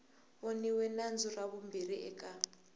voniwe nandzu ra vumbirhi eka